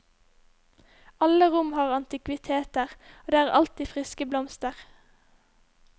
Alle rom har antikviteter og det er alltid friske blomster.